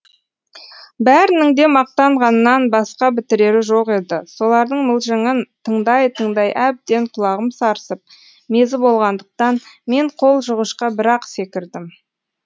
бәрінің де мақтанғаннан басқа бітірері жоқ еді солардың мылжыңын тыңдай тыңдай әбден құлағым сарсып мезі болғандықтан мен қол жуғышқа бір ақ секірдім